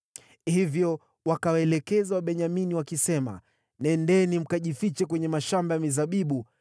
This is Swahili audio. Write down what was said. Hivyo wakawaelekeza Wabenyamini wakisema, “Nendeni mkajifiche kwenye mashamba ya mizabibu,